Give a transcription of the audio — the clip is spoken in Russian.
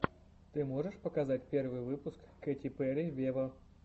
ты можешь показать первый выпуск кэти перри вево